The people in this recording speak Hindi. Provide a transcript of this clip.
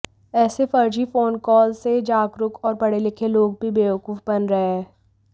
ऐसे फर्जी फोन कॉल से जागरूक और पढ़े लिखे लोग भी बेवकूफ बन रहे हैं